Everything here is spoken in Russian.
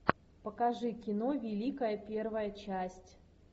покажи кино великая первая часть